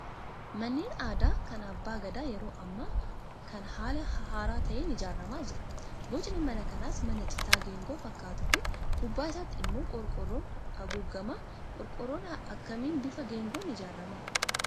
Manneen aadaa kan abbaa gadaa yeroo ammaa kana haala haaraa ta'een ijaaramaa jira. Bocni mana kanaas mana citaa geengoo fakkaatuu fi gubbaa isaatti immoo qorqoorroon haguugama. Qorqoorroon akkamiin bifa geengoon ijaarama?